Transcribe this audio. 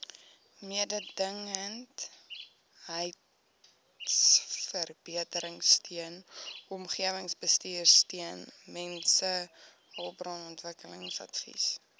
mededingendheidsverbeteringsteun omgewingsbestuursteun mensehulpbronontwikkelingsadvies